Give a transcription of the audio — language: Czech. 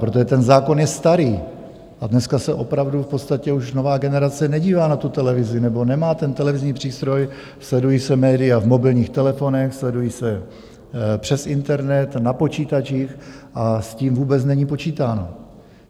Protože ten zákon je starý a dneska se opravdu v podstatě už nová generace nedívá na tu televizi, nebo nemá ten televizní přístroj, sledují se média v mobilních telefonech, sledují se přes internet na počítačích a s tím vůbec není počítáno.